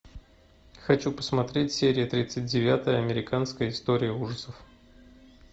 хочу посмотреть серия тридцать девятая американская история ужасов